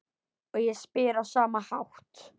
Og ég spyr á sama hátt